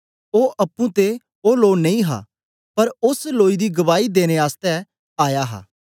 ओ अप्पुं ते ओ लो नेई हा पर ओस लोई दी गवाही देने आसतै आया हा